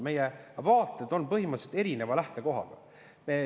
Meie vaated on põhimõtteliselt erineva lähtekohaga.